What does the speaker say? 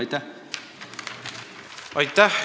Aitäh!